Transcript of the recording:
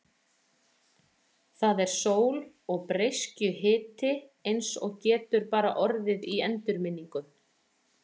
Það er sól og breiskjuhiti eins og getur bara orðið í endurminningum.